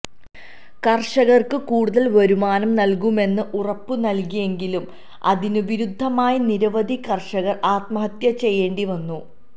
കര്ഷകര്ക്ക് കൂടുതല് വരുമാനം നല്കുമെന്ന് ഉറപ്പ് നല്കിയെങ്കിലും അതിന് വിരുദ്ധമായി നിരവധി കര്ഷകര് ആത്മഹത്യ ചെയ്യേണ്ടി വന്നു